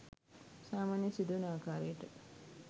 සාමාන්‍යයෙන් සිදුවන ආකාරයට